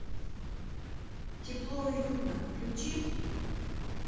тепло и уютно включи